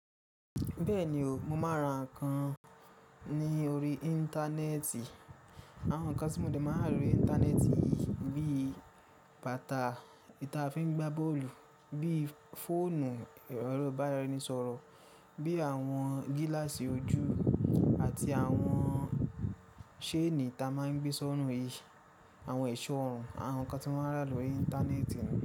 Bẹ́ẹ̀ni o, mo máa ń ra nǹkan ní orí Íńtánẹ́ẹ̀tì. Àwọn nǹkan tí mo ti de máa ń ra lórí Íńtánẹ́ẹ̀tì bíi bàtà, i ta fi ń gbá bọ́ọ̀lù, bíi fóònù erọ ìbáraenisọ̀rọ̀, bíi àwọn gíláàsì ojú àti àwọn séèní ta máa ń gbé sọ́run yi, àwọn ẹ̀ṣọ́ ọrùn àwọn nǹkan tí mo máa ń rà lórí Íńtánẹ́ẹ̀tì.